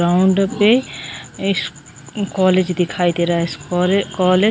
ground पे इस college दिखाई दे रहा है इस कॉलेज कॉलेज--